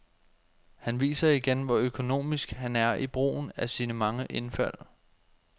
Han viser igen, hvor økonomisk han er i brugen af sine mange indfald.